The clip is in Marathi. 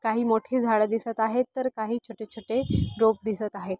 काही मोठी झाड दिसत आहे तर काही छोटे छोटे रोप दिसत आहे.